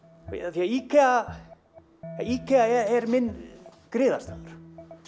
því IKEA IKEA er minn griðastaður